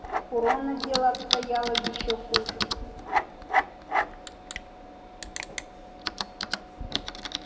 у рона дело обстояло ещё хуже